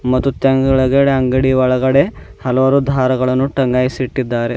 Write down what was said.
ಮತ್ತು ತೆಂಗಗಳಗಡೆ ಅಂಗಡಿ ಒಳಗಡೆ ಹಲವಾರು ದಾರಗಳನ್ನು ಟಂಗಾಯಿಸಿ ಇಟ್ಟಿದ್ದಾರೆ.